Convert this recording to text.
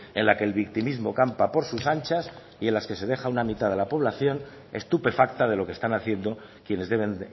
en la que el victimismo campa por sus anchas y en las que se deja a una mitad de la población estupefacta de lo que están haciendo quienes deben